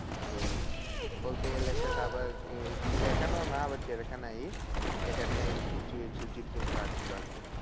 এই বলতে গেলে সেটা আবার চিড়িয়াখানাও না আবার চিড়িয়াখানাই এখানে ওই কিছু জীব জন্তু আছে ছিল আরকি।